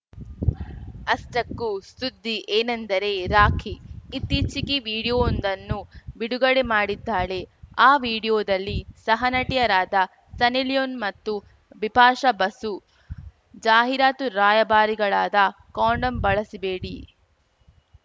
ಅಷ್ಟಕ್ಕೂ ಸುದ್ದಿ ಏನೆಂದರೆ ರಾಖಿ ಇತ್ತೀಚೆಗೆ ವಿಡಿಯೋವೊಂದನ್ನು ಬಿಡುಗಡೆ ಮಾಡಿದ್ದಾಳೆ ಆ ವಿಡಿಯೋದಲ್ಲಿ ಸಹನಟಿಯರಾದ ಸನ್ನಿ ಲಿಯೋನ್‌ ಮತ್ತು ಬಿಪಾಷಾ ಬಸು ಜಾಹೀರಾತು ರಾಯಭಾರಿಗಳಾದ ಕಾಂಡೋಂ ಬಳಸಬೇಡಿ